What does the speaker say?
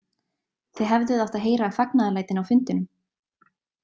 Þið hefðuð átt að heyra fagnaðarlætin á fundinum.